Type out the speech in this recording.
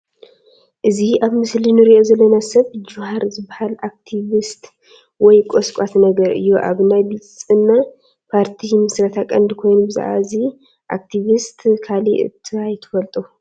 እዚ ኣብ ምስሊ ንሪኦ ዘለና ሰብ ጁሃር ዝበሃል ኣክቲቪስት ወይ ቆስቋሲ ነገር እዩ፡፡ ኣብ ናይ ብልፅና ፓርቲ ምስረታ ቀንዲ ኮይኑ ብዛዕባ እዚ ኣክቲቪስት ካሊእ እንታይ ትፈልጡ?